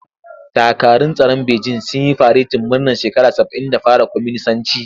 Dakarun tsaron Bejin sun yi faretin murnar shekara saba'in da fara kwaminisanci.